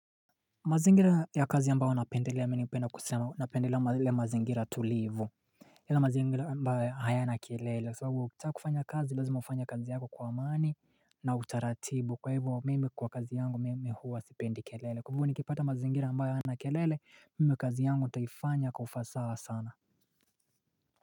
Mazingira ya kazi ambao napendelea minipenda kusema napendelea mazingira tulivu Lila mazingira ya mbao ayana kelele kwa sababu ukitaa kufanya kazi lezima ufanya kazi yako kwa amani na utaratibu kwa hivo mimi kwa kazi yangu mimi huwa sependi kelele kwa hivu nikipata mazingira ya mbao ayana kelele mimi kazi yangu utafanya kwa ufasa sana.